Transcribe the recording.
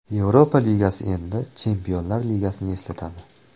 Yevropa Ligasi endi Chempionlar Ligasini eslatadi.